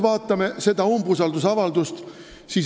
Vaatame seda umbusaldusavaldust.